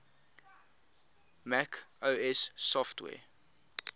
mac os software